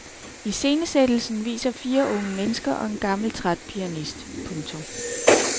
Iscenesættelsen viser fire unge mennesker og en gammel træt pianist. punktum